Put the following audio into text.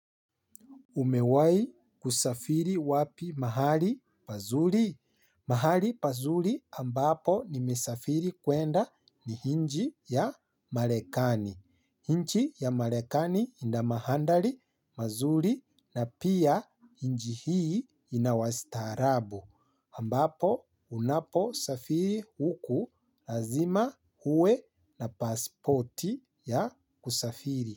Umewai kusafiri wapi mahali pazuri? Mahali pazuri ambapo nimesafiri kuenda ni nchi ya marekani. Nchi ya marekani ina mandhari mazuri na pia nchi hii inawastaarabu. Ambapo unaposafiri huku lazima uwe na passporti ya kusafiri.